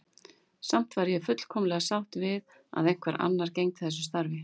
Samt væri ég fullkomlega sátt við að einhver annar gegndi þessu starfi.